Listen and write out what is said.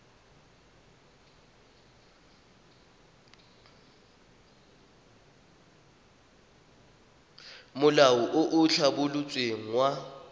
molao o o tlhabolotsweng wa